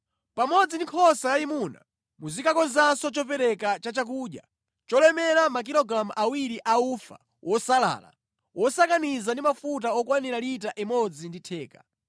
“Pamodzi ndi nkhosa yayimuna, muzikakonzanso chopereka cha chakudya cholemera makilogalamu awiri a ufa wosalala, wosakaniza ndi mafuta okwanira lita imodzi ndi theka,